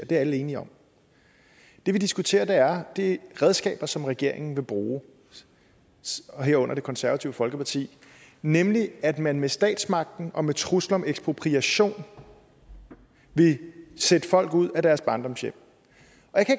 det er alle enige om det vi diskuterer er de redskaber som regeringen vil bruge herunder det konservative folkeparti nemlig at man med statsmagten og med trusler om ekspropriation vil sætte folk ud af deres barndomshjem